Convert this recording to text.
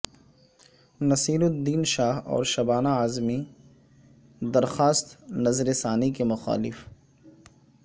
نصیر الدین شاہ اور شبانہ اعظمی درخواست نظر ثانی کے مخالف